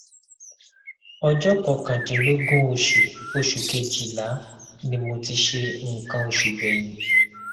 ọjọ kọkàndínlógún oṣù oṣù kejìlá ni mo ti ṣe nǹkan oṣù gbẹyìn